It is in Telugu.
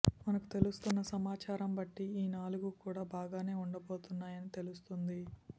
మనకు తెలుస్తున్న సమాచారం బట్టి ఈ నాలుగు కూడా బాగానే ఉండబోతున్నాయని తెలుస్తున్నది